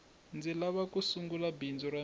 ndzi lava ku sungula bindzu ra mina